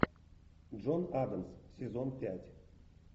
джон адамс сезон пять